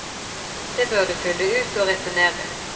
Det bør du fylle ut og returnere.